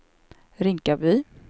Rinkaby